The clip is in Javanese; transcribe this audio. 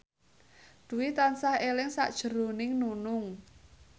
Dwi tansah eling sakjroning Nunung